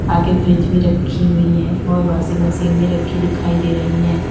आगे फ्रिज भी रखी हुई है और वाशिंग मशीन में रखी दिखाई दे रही हैं।